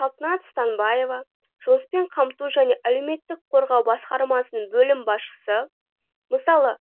салтанат станбаева жұмыспен қамту және әлеуметтік қорғау басқармасының бөлім басшысы мысалы